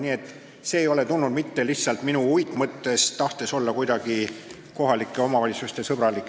Nii et see ei ole tulnud mitte minu uitmõttest ja tahtest olla kuidagi eraldi kohalike omavalitsuste sõbralik.